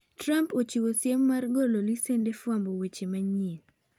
Trump ochiwo siem mar golo lesend fwambo weche manyien